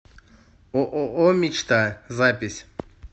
ооо мечта запись